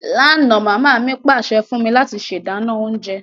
Lánà, mama mi pàsẹ fún mí láti se dánán ounje